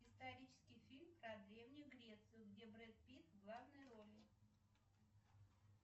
исторический фильм про древнюю грецию где брэд питт в главной роли